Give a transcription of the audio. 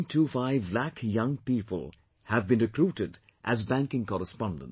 25 lakh young people have been recruited as banking correspondents